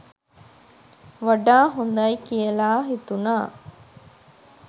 වඩා හොඳයි කියලා හිතුණා.